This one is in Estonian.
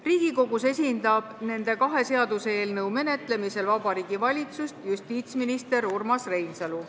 Riigikogus esindab nende kahe seaduseelnõu menetlemisel Vabariigi Valitsust justiitsminister Urmas Reinsalu.